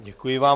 Děkuji vám.